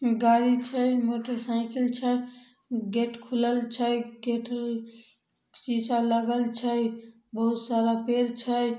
गाड़ी छै मोटरसाइकिल छै गेट खुलल छै गेट अ शीशा लगल छै बहुत सारा पेड़ छै।